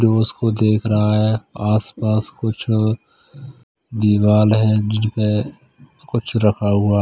जो उसको देख रहा है आस पास कुछ दीवाल है जिनपे कुछ रखा हुआ--